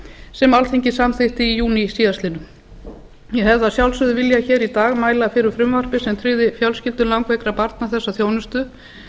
sem alþingi samþykkti í júní síðastliðnum ég hefði að sjálfsögðu viljað hér í dag mæla fyrir frumvarpi sem tryggði fjölskyldum langveikra barna þessa þjónustu